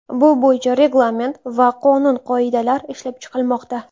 Bu bo‘yicha reglament va qonun-qoidalar ishlab chiqilmoqda.